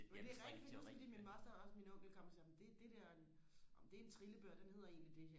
men det er rigtigt fordi jeg kan huske fordi min moster og også onkel kom og sagde nå det det der nå men det er en trillebør den hedder egentlig det